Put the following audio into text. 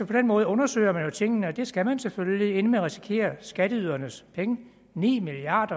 den måde undersøger man jo tingene og det skal man selvfølgelig inden man risikerer skatteydernes penge ni milliard